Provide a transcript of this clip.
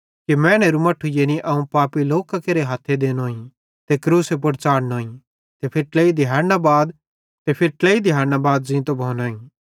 मैनेरू मट्ठू यानी अवं पापी लोकां केरे हथ्थे देनोए ते क्रूसे पुड़ च़ाढ़नोईं ते फिरी ट्लेई दिहाड़ां बाद फिरी ज़ींतो भोनोईं